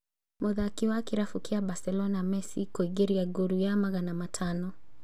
Mũthaki wa Kĩrabu kĩa Barcelona Messi kũingĩria ngolu ya magana matano